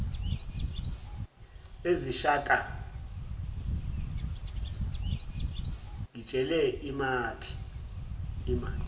eziyishaka ngitshele imaphi